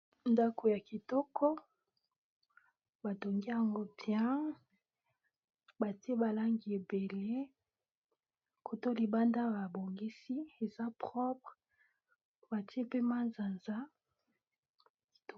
Ndako ya kitoko batongi yango bien batie ba langi ebele kotoyo libanda ba bongisi eza propre batie mpe manzanza kitoko.